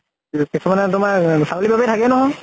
কিছুমানে তোমাৰ, ছাগলী তাগলী থাকেই নহয় ।